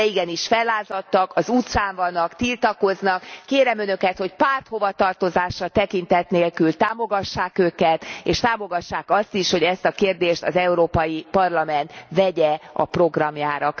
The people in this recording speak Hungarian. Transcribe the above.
De igenis fellázadtak, az utcán vannak, tiltakoznak. Kérem Önöket, hogy párthovatartozásra tekintet nélkül támogassák őket, és támogassák azt is, hogy ezt a kérdést az Európai Parlament vegye a programjára.